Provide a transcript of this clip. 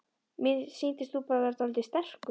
Mér sýndist þú bara vera dáldið strekktur.